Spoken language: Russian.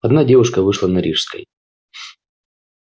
одна девушка вышла на рижской